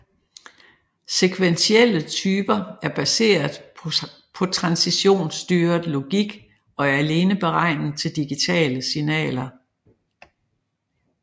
Sekventielle typer er baseret på transitionsstyret logik og er alene beregnet til digitale signaler